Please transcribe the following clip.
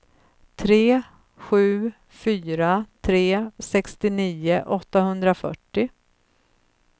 tre sju fyra tre sextionio åttahundrafyrtio